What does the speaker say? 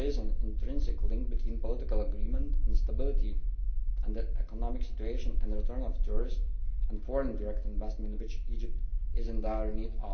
There is an intrinsic link between political agreement and stability in the economic situation and the return of tourists and foreign direct investment of which Egypt is in dire